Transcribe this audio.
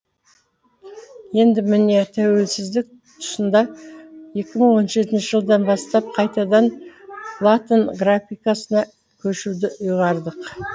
енді міне тәуелсіздік тұсында екі мың он жетінші жылдан бастап қайтадан латын графикасына көшуді ұйғардық